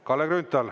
Kalle Grünthal.